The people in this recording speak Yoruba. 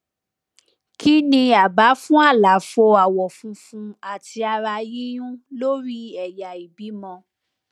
kí ni àbá fún àlàfo àwọ funfun àti ara yíyún lórí ẹyà ìbímọ